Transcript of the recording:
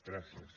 gràcies